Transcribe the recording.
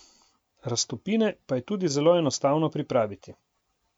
Raztopine pa je tudi zelo enostavno pripraviti.